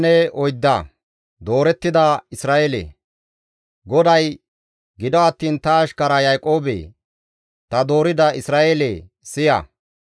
GODAY, «Gido attiin ta ashkara Yaaqoobe, ta doorida Isra7eele, siya.